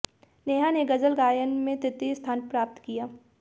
नेहा ने गजल गायन में तृतीय स्थान प्राप्त किया